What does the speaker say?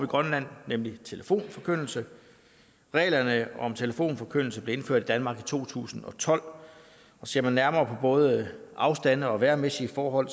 grønland nemlig telefonforkyndelse reglerne om telefonforkyndelse blev indført i danmark i to tusind og tolv og ser man nærmere både afstande og vejrmæssige forhold